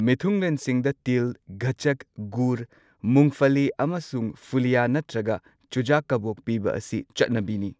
ꯃꯤꯊꯨꯡꯂꯦꯟꯁꯤꯡꯗ ꯇꯤꯜ, ꯒꯆꯆꯛ, ꯒꯨꯔ, ꯃꯨꯡꯐꯂꯤ ꯑꯃꯁꯨꯡ ꯐꯨꯂꯤꯌꯥ ꯅꯠꯇ꯭ꯔꯒ ꯆꯨꯖꯥꯛ ꯀꯕꯣꯛ ꯄꯤꯕ ꯑꯁꯤ ꯆꯠꯅꯕꯤꯅꯤ꯫